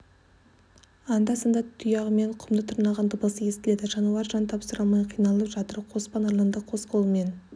анда-санда тұяғымен құмды тырнаған дыбысы естіледі жануар жан тапсыра алмай қиналып жатыр қоспан арланды қос қолымен